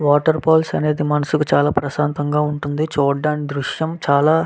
water falls అనేది మనస్సు కి చాలా ప్రశాంతంగా చాలా బాగా --